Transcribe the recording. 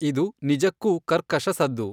ಇದು ನಿಜಕ್ಕೂ ಕರ್ಕಶ ಸದ್ದು.